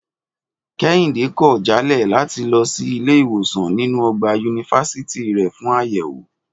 Kẹ́hìndé kọ̀ jálẹ̀ láti lọ sí ilé ìwòsàn nínú ọgbà yunifásítì rẹ̀ fún àyẹ̀wò